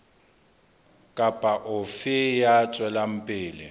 kapa ofe ya tswelang pele